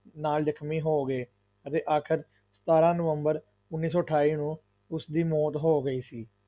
ਨਾਲ ਜਖ਼ਮੀ ਹੋ ਗਏ ਅਤੇ ਆਖ਼ਰ ਸਤਾਰਾਂ ਨਵੰਬਰ ਉੱਨੀ ਸੌ ਅਠਾਈ ਨੂੰ ਉਸ ਦੀ ਮੌਤ ਹੋ ਗਈ ਸੀ।